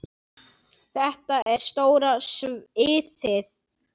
Þetta er stóra sviðið.